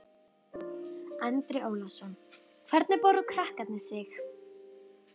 Andri Ólafsson: Hvernig báru krakkarnir sig?